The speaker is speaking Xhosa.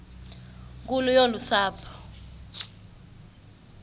nkulu yolu sapho